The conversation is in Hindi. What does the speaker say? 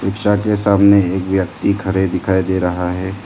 रिक्शा के सामने एक व्यक्ति खड़े दिखाई दे रहा है।